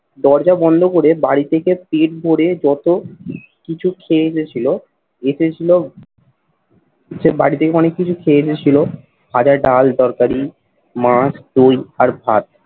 দরজা বন্ধ করে বাড়ি থেকে পেট ভরে যত কিছু খেয়ে এসেছিলো এতে ছিল সে বাড়ি থেকে অনেক কিছু খেয়ে এসেছিল ভাজা, ডাল, তরকারি, মাছ, দই আর ভাত।